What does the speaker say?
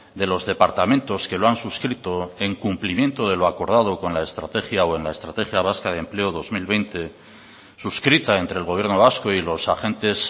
de los departamentos que lo han suscrito en cumplimiento de lo acordado con la estrategia o en la estrategia vasca de empleo dos mil veinte suscrita entre el gobierno vasco y los agentes